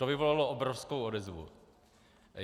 To vyvolalo obrovskou odezvu.